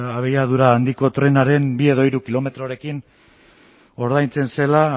abiadura handiko trenaren bi edo hiru kilometrorekin ordaintzen zela